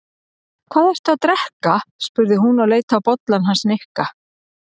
Hvað ertu að drekka? spurði hún og leit á bollann hans Nikka.